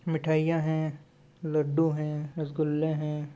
मिठाइयां है लड्डू है रसगुल्ले हैं ।